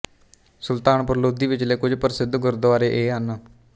ਸੁਲਤਾਨਪੁਰ ਲੋਧੀ ਵਿਚਲੇ ਕੁਝ ਪ੍ਰਸਿੱਧ ਗੁਰਦੁਆਰੇ ਇਹ ਹਨ